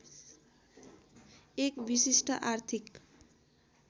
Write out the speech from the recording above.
एक विशिष्ट आर्थिक